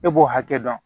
E b'o hakɛ dɔn